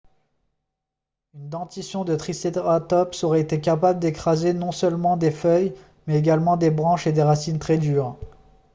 une dentition de tricératops aurait été capable d'écraser non seulement des feuilles mais également des branches et des racines très dures